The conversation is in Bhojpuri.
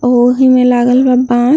ओहे में लागल बा बास।